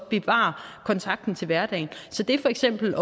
bevare kontakten til hverdagen det er for eksempel